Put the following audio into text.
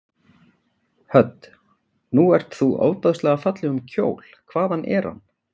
Hödd: Nú ert þú ofboðslega fallegum kjól, hvaðan er hann?